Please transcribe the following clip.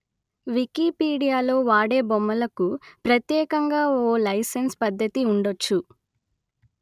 వికీపీడియాలో వాడే బొమ్మలకు ప్రత్యేకంగా ఓ లైసెన్సు పద్ధతి ఉండొచ్చు